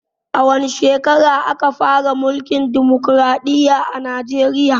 A wace shekara aka fara mulkin dimokraɗiya a najeriya?